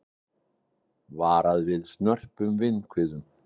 Varað við snörpum vindhviðum